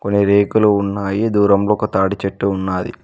రేకులు ఉన్నాయి దూరంలో ఒక తాడిచెట్టు ఉన్నాది.